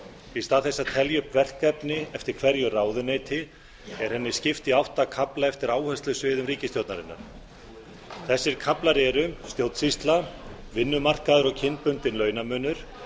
í stað þess að telja upp verkefni eftir hverju ráðuneyti er henni skipt í átta kafla eftir áherslusviðum ríkisstjórnarinnar þessir kaflar eru stjórnsýsla vinnumarkaður og kynbundinn launamunur